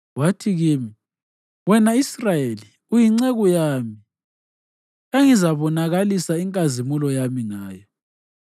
Wathi kimi, “Wena Israyeli uyinceku yami, engizabonakalisa inkazimulo yami ngayo.”